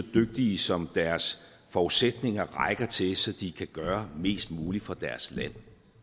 dygtige som deres forudsætninger rækker til så de kan gøre mest muligt for deres land